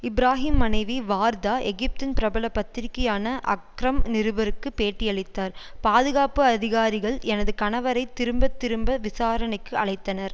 இப்ராஹீம் மனைவி வார்தா எகிப்தின் பிரபல பத்திரிகையான அக்ரம் நிருபருக்கு பேட்டியளித்தார் பாதுகாப்பு அதிகாரிகள் எனது கணவரை திரும்ப திரும்ப விசாரணைக்கு அழைத்தனர்